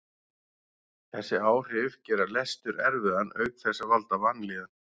Þessi áhrif gera lestur erfiðan auk þess að valda vanlíðan.